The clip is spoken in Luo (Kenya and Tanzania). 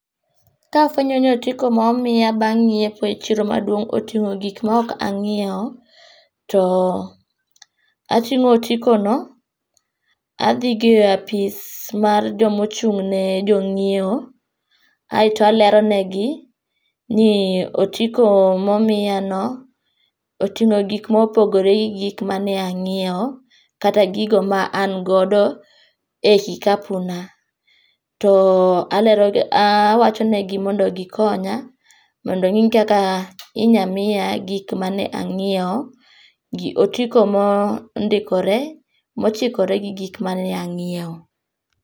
Kafwenyo ni otiko momiya bang' nyiepo e chiro maduong' oting'o gik ma ok anyiewo, to ating'o otiko no adhigo e apis mar jomo chung' ne jonyiewo, aeto alero negi ni otiko momiya no oting'o gik mopogore gi gik mane anyiewo ,kata gigo ma an godo e kikapu na .To alero gi awacho ne gi mondo gikonya mondo ong'i kaka inya miya gik mane ang'iewo otiko mondikore mochikore gi gik mane ang'iewo.